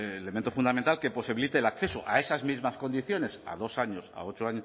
elemento fundamental que posibilite el acceso a esas mismas condiciones a dos años a ocho